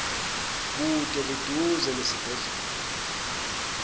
bude buduze nesibhedlela